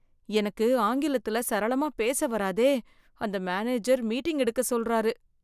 எனக்கு ஆங்கிலத்தில சரளமாக பேசு வாராதே அந்த மேனேஜர் மீட்டிங் எடுக்க சொல்றாரு.